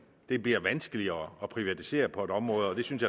det bliver vanskeligere at privatisere på et område og det synes